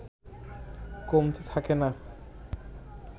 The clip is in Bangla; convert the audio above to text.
কমতি থাকে না